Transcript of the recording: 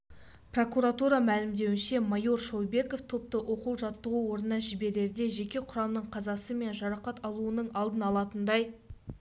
прокуратура мәлімдеуінше майор шойбеков топты оқу-жаттығу орнына жіберерде жеке құрамның қазасы мен жарақат алуының алдын алатындай